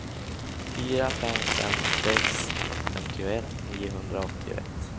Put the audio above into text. fyra fem fem sex femtioett niohundraåttioett